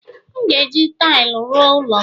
M ga-eji taịlị ruo ụlọ m